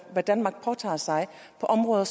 hvad danmark påtager sig på områder